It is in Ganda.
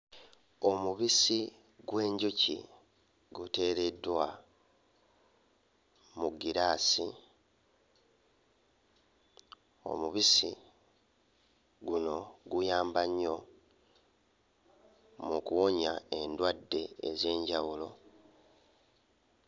Omubisi gw'enjuki guteereddwa mu ggiraasi. Omubisi guno guyamba nnyo mu kuwonya endwadde ez'enjawulo.